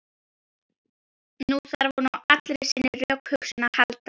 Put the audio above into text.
Nú þarf hún á allri sinni rökhugsun að halda.